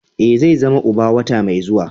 Ee, zai zama uba wata mai zuwa.